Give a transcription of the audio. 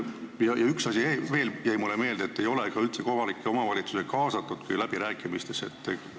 Ning üks asi veel jäi mulle meelde: nimelt, et kohalikke omavalitsusi ei ole üldse läbirääkimistesse kaasatud.